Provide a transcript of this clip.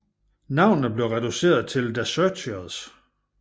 Navnet blev reduceret til The Searchers